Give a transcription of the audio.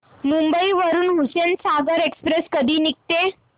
मुंबई वरून हुसेनसागर एक्सप्रेस कधी निघते